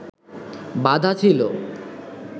বাঁধা ছিল